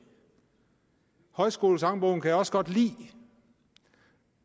højskolesangbogen kan jeg også godt lide